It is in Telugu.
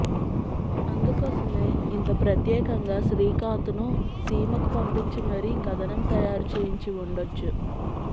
అందుకోసమే ఇంత ప్రత్యేకంగా శ్రీకాంత్ ను సీమకు పంపించి మరీ కథనం తయారు చేయించివుండొచ్చు